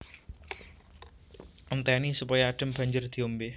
Entèni supaya adhem banjur diombé